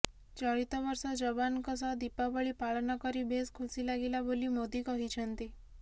ଚଳିତ ବର୍ଷ ଯବାନଙ୍କ ସହ ଦୀପାବଳୀ ପାଳନ କରି ବେଶ୍ ଖୁସି ଲାଗିଲା ବୋଲି ମୋଦି କହିଛନ୍ତି